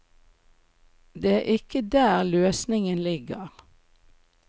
Det er ikke der løsningen ligger.